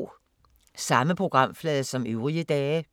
Samme programflade som øvrige dage